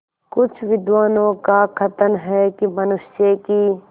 कुछ विद्वानों का कथन है कि मनुष्य की